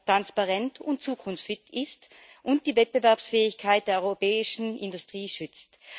transparent und zukunftsfit ist und die Wettbewerbsfähigkeit der europäischen Industrie schützt.